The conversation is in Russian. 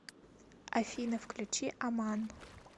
афина включи аман